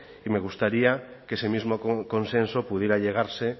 y me gustaría que ese mismo consenso pudiera llegarse